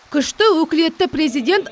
күшті өкілетті президент